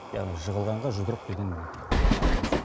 яғни жығылғанға жұдырық деген міне нағыз осы